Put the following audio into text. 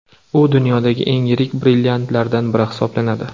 U dunyodagi eng yirik brilliantlardan biri hisoblanadi.